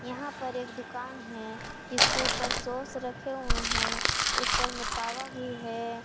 यहां पर एक दुकान है जिसके ऊपर सॉस रखे हुए हैं ऊपर में तावा भी है।